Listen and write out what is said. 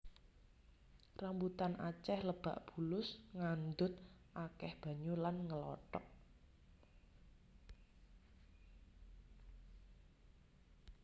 Rambutan acéh lebak bulus ngandhut akéh banyu lan ngelotok